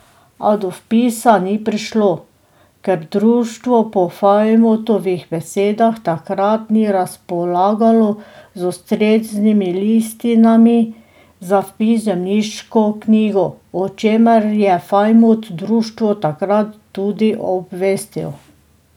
A do vpisa ni prišlo, ker društvo po Fajmutovih besedah takrat ni razpolagalo z ustreznimi listinami za vpis v zemljiško knjigo, o čemer je Fajmut društvo takrat tudi obvestil.